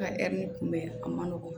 An ka ɛri kunbɛn a ma nɔgɔn